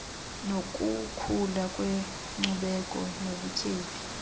nokukhula kwenkcubeko nobutyebi